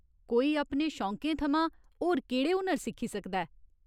कोई अपने शौंकें थमां होर केह्ड़े हुनर सिक्खी सकदा ऐ ?